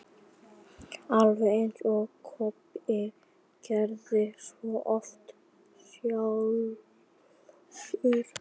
Alveg eins og Kobbi gerði svo oft sjálfur.